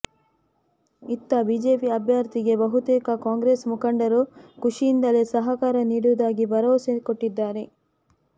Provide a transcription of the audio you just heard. ಇತ್ತ ಬಿಜೆಪಿ ಅಭ್ಯರ್ಥಿಗೆ ಬಹುತೇಕ ಕಾಂಗ್ರೆಸ್ ಮುಖಂಡರು ಖುಷಿಯಿಂದಲೇ ಸಹಕಾರ ನೀಡುವುದಾಗಿ ಭರವಸೆ ಕೊಟ್ಟಿದ್ದಾರೆ